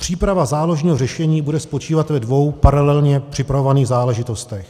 Příprava záložního řešení bude spočívat ve dvou paralelně připravovaných záležitostech.